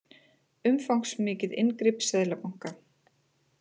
Umfangsmikið inngrip seðlabanka